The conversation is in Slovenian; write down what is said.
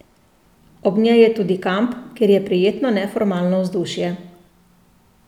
Ob njej je tudi kamp, kjer je prijetno neformalno vzdušje.